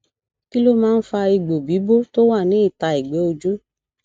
kí ló máa ń fa egbo bibo tó wa ní ita egbe ojú